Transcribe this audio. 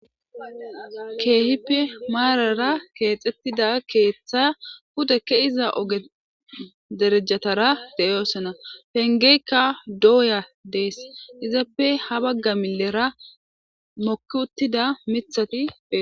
Keehippe maarara keexettida keeththa pudekke iza ogederejatara deyoosona pengeykka dooya dees izappe ha bagga millera mokki uttida mithati.